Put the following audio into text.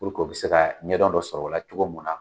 u be se ka ɲɛdɔn dɔ sɔrɔ o la cogo mun na.